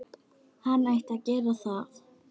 Hann ætti að gera það.